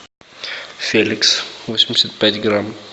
феликс восемьдесят пять грамм